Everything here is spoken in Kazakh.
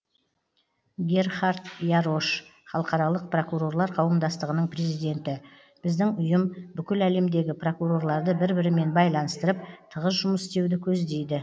герхард ярош халықаралық прокурорлар қауымдастығының президенті біздің ұйым бүкіл әлемдегі прокурорларды бір бірімен байланыстырып тығыз жұмыс істеуді көздейді